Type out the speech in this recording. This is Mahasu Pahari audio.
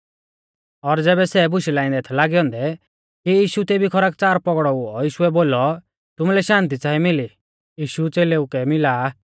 और ज़ैबै सै बुशै लाइंदै थै लागै औन्दै कि यीशु तेभी खरकच़ार पौगड़ौ हुऔ यीशुऐ बोलौ तुमुलै शान्ति च़ांई मिली यीशु च़ेलेउ कै मिला आ